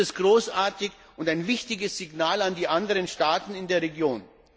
Das ist großartig und ein wichtiges Signal an die anderen Staaten in der Region.